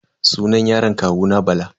Sunan yaron kawuna Bala.